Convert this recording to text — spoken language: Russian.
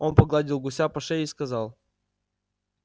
он погладил гуся по шее и сказал